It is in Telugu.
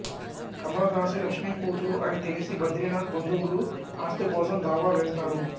కమల దాసి లక్ష్మి కూతురు అని తెలిసి బద్రీనాథ్ బంధువులు ఆస్తికోసం దావా వేస్తారు